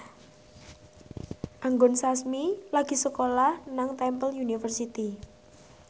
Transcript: Anggun Sasmi lagi sekolah nang Temple University